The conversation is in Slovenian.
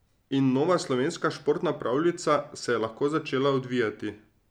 In nova slovenska športna pravljica se je lahko začela odvijati.